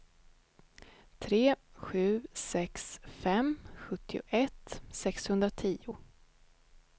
tre sju sex fem sjuttioett sexhundratio